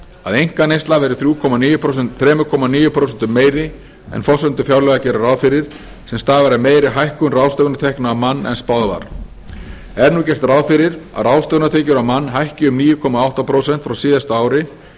að einkaneysla verði þrjú komma níu prósentum meiri en forsendur fjárlaga gerðu ráð fyrir sem stafar af meiri hækkun ráðstöfunartekna á mann en spáð var er nú gert ráð fyrir að ráðstöfunartekjur á mann hækki um níu komma átta prósent frá síðasta ári